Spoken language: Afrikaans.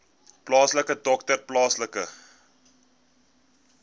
plaaslike dokter plaaslike